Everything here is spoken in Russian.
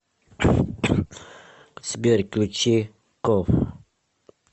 сбер включи ков